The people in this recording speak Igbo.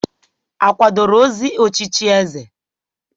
A kwadoro ozi ochichi eze?